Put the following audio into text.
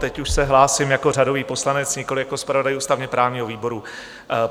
Teď už se hlásím jako řadový poslanec, nikoliv jako zpravodaj ústavně-právního výboru.